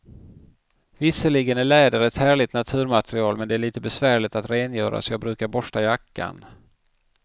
Visserligen är läder ett härligt naturmaterial, men det är lite besvärligt att rengöra, så jag brukar borsta jackan.